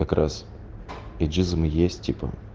как раз ейджизм есть типа